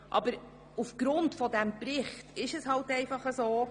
Aber aufgrund des Berichts ist es einfach so: